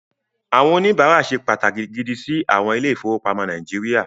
Àwọn oníbàárà ṣe pàtàkì gidi sí àwọn ilé-ìfowópamọ́ Nàíjíríà.